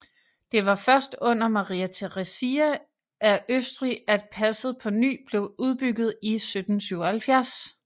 Det var først under Maria Theresia af Østrig at passet på ny blev udbygget i 1777